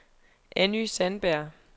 Anny Sandberg